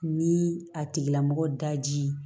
Ni a tigila mɔgɔ daji